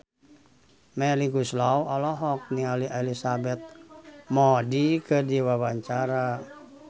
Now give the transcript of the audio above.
Melly Goeslaw olohok ningali Elizabeth Moody keur diwawancara